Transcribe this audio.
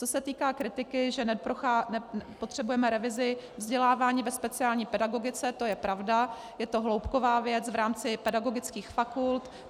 Co se týká kritiky, že nepotřebujeme revizi vzdělávání ve speciální pedagogice, to je pravda, je to hloubková věc v rámci pedagogických fakult.